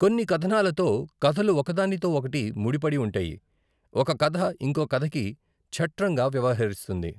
కొన్నికథనాలతో, కథలు ఒక దానితో ఓకటి ముడి పడి ఉంటాయి, ఒక కథ ఇంకో కథకి ఛట్రంగా వ్యవహరిస్తుంది.